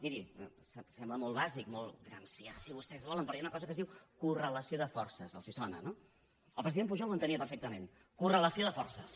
mirin sembla molt bàsic molt gramscià si vostès volen però hi ha una cosa que es diu correlació de forces els sona no el president pujol ho entenia perfectament correlació de forces